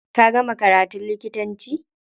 Ka gama karatun likitanci?